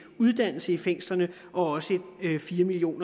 uddannelse i fængslerne og fire million